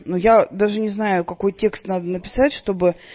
ну я даже не знаю какой текст надо написать чтобы